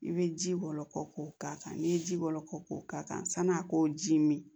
I bɛ ji bɔ ko ka kan n'i ye ji bɔlɔ kɔ k'o k'a kan sani a k'o ji min